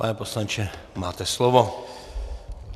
Pane poslanče, máte slovo.